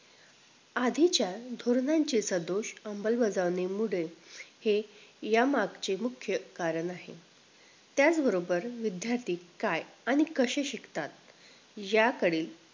आधीच्या धोरणांचे जर दोष अंलबजावणीमुळे हें या मागचे मुख्य कारण आहे त्याचबरोबर विध्यार्थी काय आणि कसे शिकतात याकडील